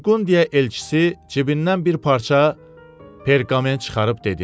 Burqundiya elçisi cibindən bir parça perqament çıxarıb dedi: